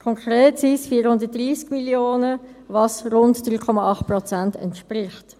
Konkret sind es 430 Mio. Franken, was rund 3,8 Prozent entspricht.